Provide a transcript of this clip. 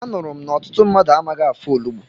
Anụrụ m na ọtụtụ mmadụ amaghị afọ onugbu.